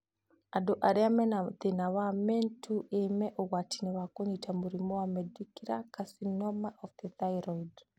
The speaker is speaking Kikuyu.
Andũ arĩa mena thĩna wa MEN 2A me ũgwati-inĩ wa kũnyita mũrimũ wa medullary carcinoma of the thyroid.